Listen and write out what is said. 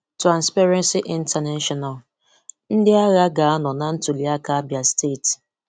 Transparency international: ndị agha ga-anọ na ntuli aka Abia steeti.